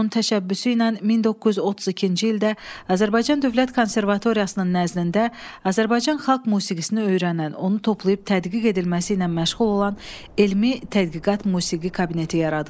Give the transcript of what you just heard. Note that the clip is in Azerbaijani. Onun təşəbbüsü ilə 1932-ci ildə Azərbaycan Dövlət Konservatoriyasının nəznində Azərbaycan xalq musiqisini öyrənən, onu toplayıb tədqiq edilməsi ilə məşğul olan elmi tədqiqat musiqi kabineti yaradılıb.